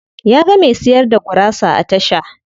Ya ga me siyar da gurasa a tasha.